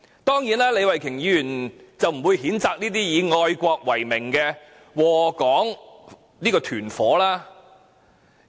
當然，李慧琼議員不會譴責這些以愛國為名而禍港為實的"團夥"。